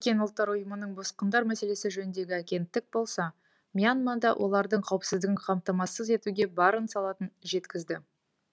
біріккен ұлттар ұйымының босқындар мәселесі жөніндегі агенттік болса мьянмада олардың қауіпсіздігін қамтамасыз етуге барын салатынын жеткізді